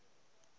prwk begin nou